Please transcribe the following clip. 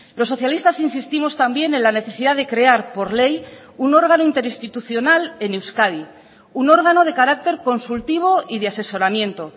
los socialistas insistimos también en la necesidad de crear por ley un órgano interinstitucional en euskadi un órgano de carácter consultivo y de asesoramiento